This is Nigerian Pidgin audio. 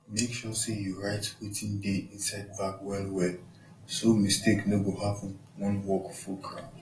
make sure say you write wetin dey inside bag wellwell so mistake no go happen when work full ground